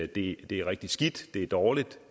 det det er rigtig skidt det er dårligt